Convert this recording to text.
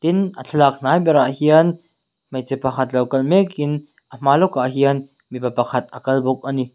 tin a thlalak hnai berah hian hmeichhe pakhat lo kal mek in a hma lok ah hian mipa pakhat alo kal bawk ani.